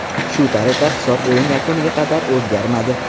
Shu tariqa hisob o‘yin yakuniga qadar o‘zgarmadi.